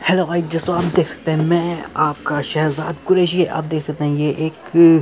hello guys जैसे आप देख सकते हैं मै आपका शेह्ज़ाद कुरैशी आप देख सकते है ये एक --